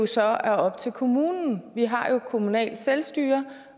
så er op til kommunen vi har jo kommunalt selvstyre